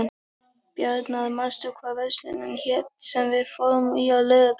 Bjarnar, manstu hvað verslunin hét sem við fórum í á laugardaginn?